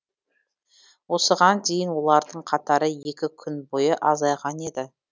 осыған дейін олардың қатары екі күн бойы азайған еді